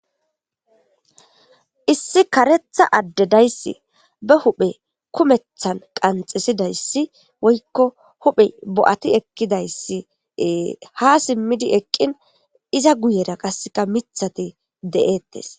Issi karetha addedayssi bahuphe kumethan qanxisidayssi woykko huphe bo'ati ekidayssi hasimmidi eqqin iza guyera qasseka mithati de'ettes.